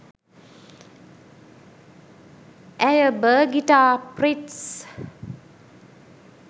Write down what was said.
ඇය බර්ගිටා ප්‍රිට්ස්